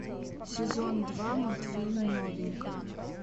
сезон два мультфильм новенькая